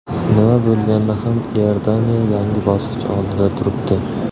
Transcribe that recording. Nima bo‘lganda ham Iordaniya yangi bosqich oldida turibdi.